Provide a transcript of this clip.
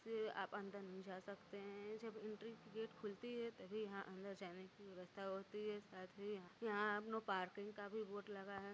आप अंदर नहीं जा सकते है जब एंट्री की गेट खुलती है तभी यहाँ अंदर जाने की व्यवस्था होती है साथ ही यहाँ पार्किंग का भी बोर्ड लगा है।